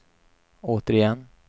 återigen